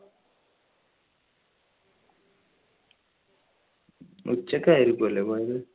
ഉച്ചയ്ക്ക് ആയിരിക്കോലെ പോയത്.